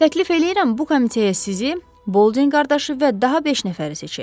Təklif eləyirəm bu komitəyə sizi, Bolding qardaşı və daha beş nəfəri seçək.